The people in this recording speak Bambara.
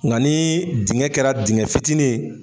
Nga ni dingɛ kɛra dingɛ fitinin ye